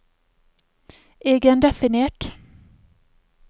egendefinert